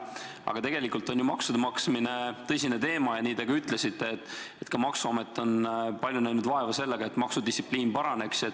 Aga tegelikult on maksude maksmine tõsine teema ja nagu te ütlesite, ka maksuamet on näinud palju vaeva, et maksudistsipliin paraneks.